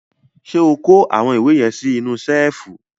Ṣé o kó àwọn ìwé yẹn sí inú ṣẹ́ẹ́fù?